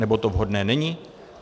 Nebo to vhodné není?